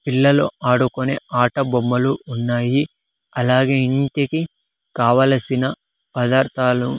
పిల్లలు ఆడుకునే ఆట బొమ్మలు ఉన్నాయి అలాగే ఇంటికి కావలసిన పదార్థాలు.